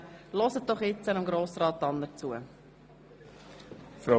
Hören Sie jetzt Grossrat Tanner zu.